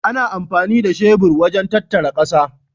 Ana amfani da shebur wajen tattara ƙasa.